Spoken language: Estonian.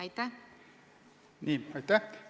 Aitäh!